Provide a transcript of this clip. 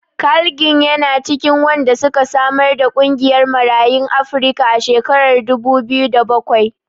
Carl Ginn yana cikin wanda suka samar da ƙungiyar Marayun Afrika a shekarar dubu biyu da bakwai.